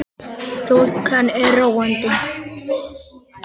Þokan er róandi